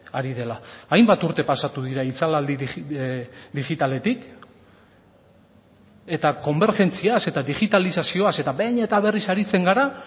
ari dela hainbat urte pasatu dira itzalaldi digitaletik eta konbergentziaz eta digitalizazioaz eta behin eta berriz aritzen gara